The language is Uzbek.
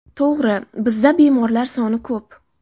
To‘g‘ri, bizda bemorlar soni ko‘p.